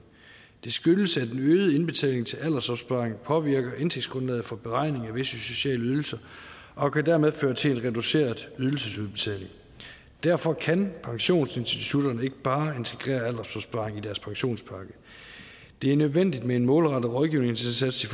det skyldes at den øgede indbetaling til aldersopsparing påvirker indtægtsgrundlaget for beregning af visse sociale ydelser og dermed kan føre til en reduceret ydelsesudbetaling derfor kan pensionsinstitutterne ikke bare integrere aldersopsparing i deres pensionspakke det er nødvendigt med en målrettet rådgivningsindsats